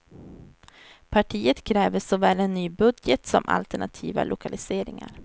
Partiet kräver såväl en ny budget som alternativa lokaliseringar.